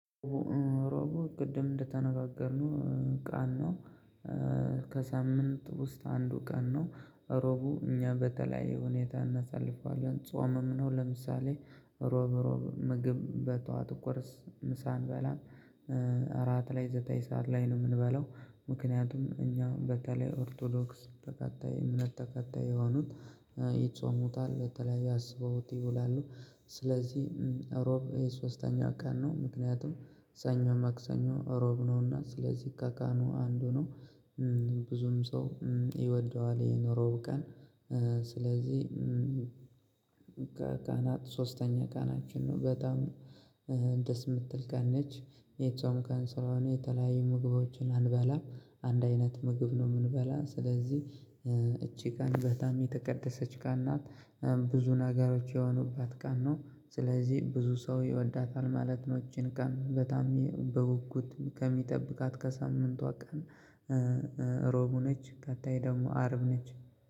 ሮቡ ቅድም እንደተነጋገርነው ቀን ነው። ከሳምንት ውስጥ አንዱ ቀን ነው። ሮቡ እኛ በተለያየ ሁኔታ እናሳልፈዋለን ጾምም ነው ለምሳሌ ሮብ ሮብ ምግብ በጠዋት ቁርስ ምሳ እንበላም። እራት ላይ ዘጠኝ ሰዓት ላይ ነው ምንበላው። ምክንያቱም እኛ በተለይ ኦርቶዶክስ ተከታይ እምነት ተከታይ የሆኑት ይጾሙታል በተለይ አስበዉት ይውላሉ። ስለዚህ እሮብ ሶስተኛ ቀን ነው ምክንያቱም ሰኞ ማክሰኞ እሮብ ነውና ስለዚህ ከቀኑ አንዱ ነው። ብዙም ሰው ይወደዋል ይህን እሮብ ቀን ስለዚህ። ከቀናት ሶስተኛ ቀናችን ነው በጣም ደስ ምትል ቀን ነች። የጾም ቀን ስለሆነ የተለያዩ ምግቦችን አንበላም አንድ አይነት ምግብ ነው ምንበላ ስለዚህ። እቺ ቀን በጣም የተቀደሰች ቀን ናት። ብዙ ነገሮች የሆኑባት ቀን ነው ስለዚህ ብዙ ሰው ይወዳታል ማለት ነው። እቺን ቀን በጣም በጉጉት ከሚጠብቃት ከሳምንቷ ቀን። ሮቡ ነች ቀጣይ ደሞ አርብ ነች